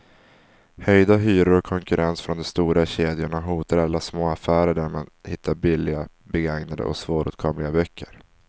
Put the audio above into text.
Höjda hyror och konkurrens från de stora kedjorna hotar alla små affärer där man hittar billiga, begagnade och svåråtkomliga böcker.